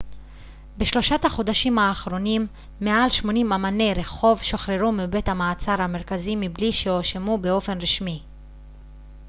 בשלושת החודשים האחרונים מעל 80 אמני רחוב שוחררו מבית המעצר המרכזי מבלי שהואשמו באופן רשמי